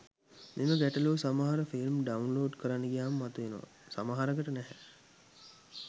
මෙම ගැටලුව සමහර ෆිල්ම් ඩවුන්ලොඩ් කරන්න ගියාම මතු වෙනවා සමහරකට නැහැ.